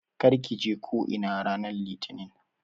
Kar ki je ko'ina ranar litini!